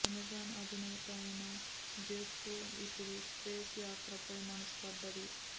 Amazon అధినేత అయిన Jeff కు ఇప్పుడు స్పేస్ యాత్ర పై మనసు పడ్డది